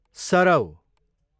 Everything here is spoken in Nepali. सरौ